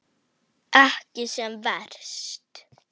Ekki sem verst?